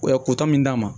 kutu min d'a ma